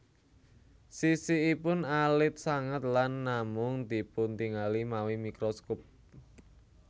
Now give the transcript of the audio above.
Sisikipun alit sanget lan namung dipuntingali mawi mikroskop